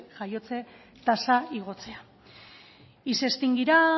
jaiotze tasa igotzea y se extinguirá